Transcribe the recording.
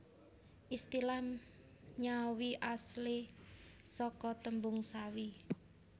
Istilah nyawi aslé saka tembung sawi